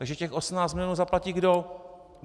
Takže těch 18 milionů zaplatí kdo?